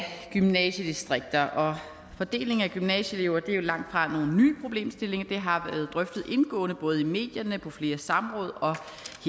gymnasiedistrikter fordelingen af gymnasieelever er langt fra nogen ny problemstilling det har været drøftet indgående både i medierne og på flere samråd og